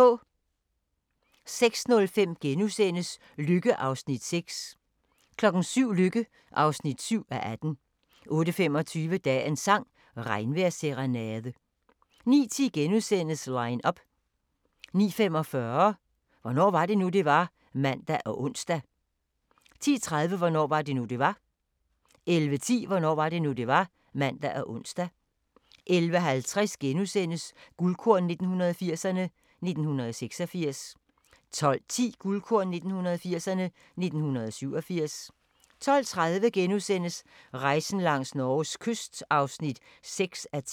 06:05: Lykke (6:18)* 07:00: Lykke (7:18) 08:25: Dagens sang: Regnvejrsserenade 09:10: Line up * 09:45: Hvornår var det nu, det var? (man og ons) 10:30: Hvornår var det nu, det var? 11:10: Hvornår var det nu, det var? (man og ons) 11:50: Guldkorn 1980'erne: 1986 * 12:10: Guldkorn 1980'erne: 1987 12:30: Rejsen langs Norges kyst (6:10)*